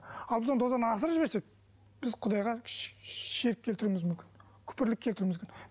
ал біз оны дозаны асырып жіберсек біз құдайға ширкк келтіруіміз мүмкін күпірлік келтіруіміз мүмкін